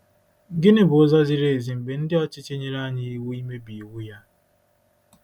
Gịnị bụ ụzọ ziri ezi mgbe ndị ọchịchị nyere anyị iwu imebi iwu ya?